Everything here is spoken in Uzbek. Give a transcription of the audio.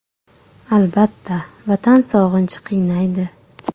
Albatta, Vatan sog‘inchi qiynaydi.